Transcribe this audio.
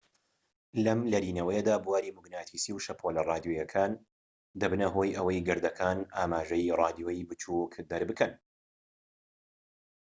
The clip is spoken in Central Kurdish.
لەم لەرینەوەیەدا بواری موگناتیسی و شەپۆلە ڕادیۆییەکان دەبنە هۆی ئەوەی گەردەکان ئاماژەی ڕادیۆیی بچوك دەربکەن